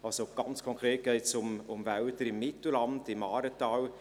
Also, ganz konkret geht es um Wälder im Mittelland, im Aaretal.